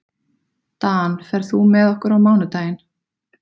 Dan, ferð þú með okkur á mánudaginn?